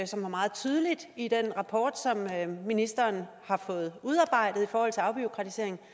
som var meget tydeligt i den rapport som ministeren har fået udarbejdet i forhold til afbureaukratisering